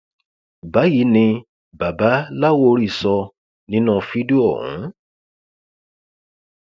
báyìí ni baba láwórì sọ nínú fídíò ọhún